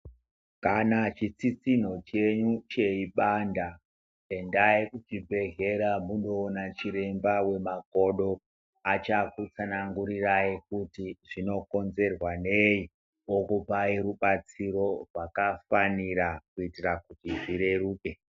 Kana chitsitsino chenyu cheibanda endai kucbibhehlera mundoona chiremba wemakodo achakutsanangurirai kuti zvinokonzerwa nei okupai rubatsiro pakafanira kuitira kuti zvireruke.